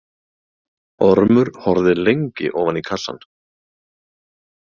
Ormur horfði lengi ofan í kassann.